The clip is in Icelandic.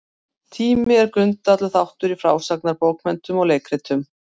Tími er grundvallarþáttur í frásagnarbókmenntum og leikritum.